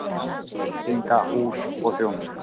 VEITINGAHÚS OG ÞJÓNUSTA